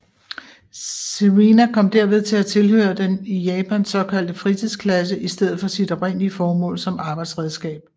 Serena kom derved til at tilhøre den i Japan såkaldte fritidsklasse i stedet for sit oprindelige formål som arbejdsredskab